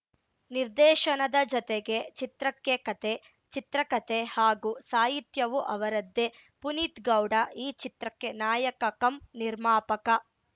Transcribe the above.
ನಿರ್ದೇಶನದ ಜತೆಗೆ ಚಿತ್ರಕ್ಕೆ ಕತೆ ಚಿತ್ರಕತೆ ಹಾಗೂ ಸಾಹಿತ್ಯವೂ ಅವರದ್ದೇ ಪುನೀತ್‌ ಗೌಡ ಈ ಚಿತ್ರಕ್ಕೆ ನಾಯಕ ಕಮ್‌ ನಿರ್ಮಾಪಕ